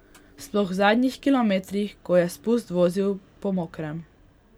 Sploh v zadnjih kilometrih, ko je spust vozil po mokrem.